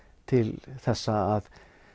til þessa að